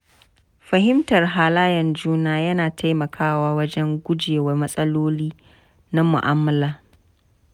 Fahimtar halayen juna yana taimakawa wajen guje wa matsaloli na mu'amala.